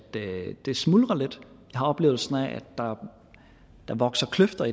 det smuldrer lidt jeg har oplevelsen af at der vokser kløfter